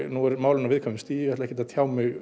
nú eru málin á viðkvæmu stigi og ég ætla ekki að tjá mig